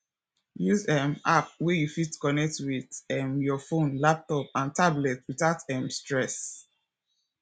use um app wey you fit connect with um your phone laptop and tablet without um stress